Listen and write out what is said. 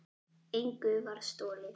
Engu var stolið.